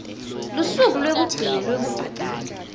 lusuku lwekugcina lwekubhadala